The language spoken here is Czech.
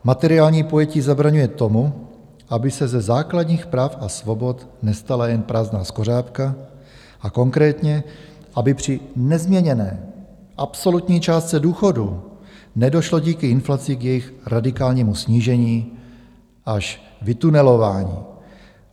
Materiální pojetí zabraňuje tomu, aby se ze základních práv a svobod nestala jen prázdná skořápka, a konkrétně, aby při nezměněné absolutní částce důchodů nedošlo díky inflaci k jejich radikálnímu snížení až vytunelování.